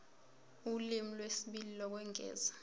ulimi lwesibili lokwengeza